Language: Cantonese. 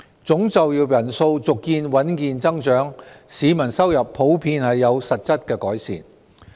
總就業人數續見穩健增長，市民收入普遍有實質改善。